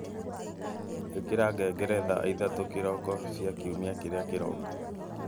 ikira ngengere thaa ithatu kiroko cia Kiumia kĩrĩa kĩroka